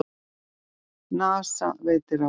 NASA veitir ráðgjöf